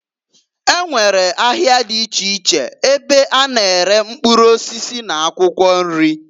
E nwekwara ahịa dị iche iche ebe a na-ere mkpụrụ osisi n'akwụkwọ nri.